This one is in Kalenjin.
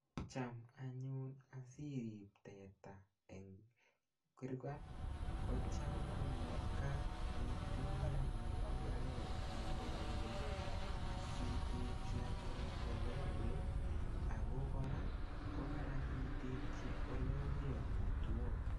Cham anyun asirip teta eng kurkat ko cham komakat itinye anyun mbaret nemamining asitekchi anyun ole ruei ako kora ko Karan itekchi ole omee amitwok.